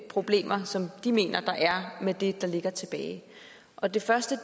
problemer som de mener er med det der ligger tilbage og det første